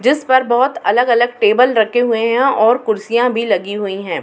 जिस पर बहोत अलग-अलग टेबल रखे हुए हैं और कुर्सियाँ भी लगी हुई हैं।